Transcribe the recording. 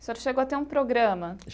O senhor chegou a ter um programa?